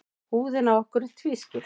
Húðin á okkur er tvískipt.